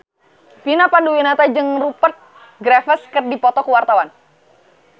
Vina Panduwinata jeung Rupert Graves keur dipoto ku wartawan